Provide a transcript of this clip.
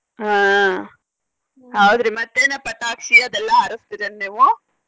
ಆಹ್ ಹೌದ್ರಿ ಮತ್ತೇನ ಪಟಾಕ್ಷಿ ಅದೆಲ್ಲಾ ಹಾರಸ್ತೇರ ಏನ ನೀವು?